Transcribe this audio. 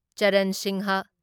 Charan Singh